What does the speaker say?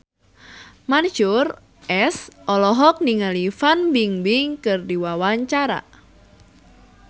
Mansyur S olohok ningali Fan Bingbing keur diwawancara